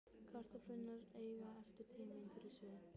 Kartöflurnar eiga eftir tíu mínútur í suðu.